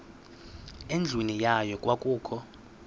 endlwini yayo kwakukho